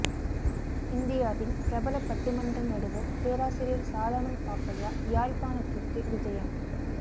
இந்தியாவின் பிரபல பட்டிமன்ற நடுவர் பேராசிரியர் சாலமன் பாப்பையா யாழ்ப்பாணத்திற்கு விஜயம்